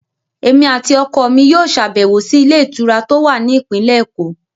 Èmi àti ọkọ mi yóò ṣàbẹ̀wò sí ilé ìtura tó wà ní ìpínlẹ̀ èkó